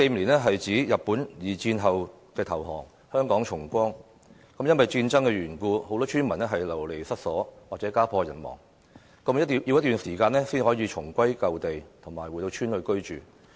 1945年是日本在二戰投降和香港重光的一年，因為戰爭緣故，很多村民流離失所，甚至家破人亡，需要一段時間後才能重歸舊地，回到鄉村居住。